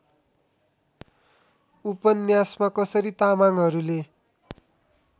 उपन्यासमा कसरी तामाङहरूले